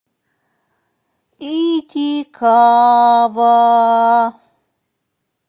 итикава